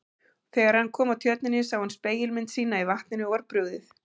Þegar hann kom að tjörninni sá hann spegilmynd sína í vatninu og var brugðið.